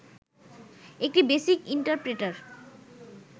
একটি BASIC interpreter